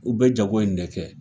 U be jago in de kɛ.